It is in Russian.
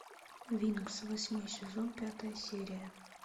винкс восьмой сезон пятая серия